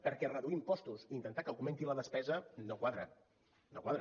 perquè reduir impostos i intentar que augmenti la despesa no quadra no quadra